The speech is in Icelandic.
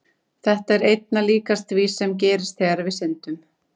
Þetta er einna líkast því sem gerist þegar við syndum.